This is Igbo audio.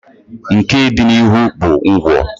nke dị n'ihu bụ ngwọ.